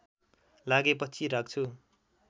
लागे पछि राख्छु